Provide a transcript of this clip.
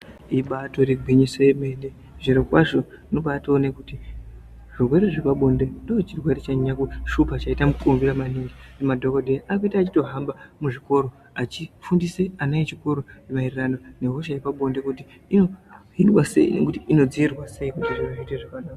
Ibatori gwinyiso yemene zvirokwazvo tinobawone kuti zvirwere zvepabonde chirwere chanyanya kushupa chaita mukurumbira maningi. Madhokodheya akutoita eyitohamba muzvikora echifundisa ana echikoro mayererano nehosha yepabonde inodzivirirwa sei kuti zviro zviite zvakanaka.